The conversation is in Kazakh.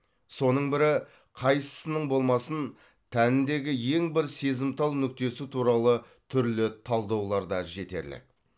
соның бірі қайсысының болмасын тәніндегі ең бір сезімтал нүктесі туралы түрлі талдаулар да жетерлік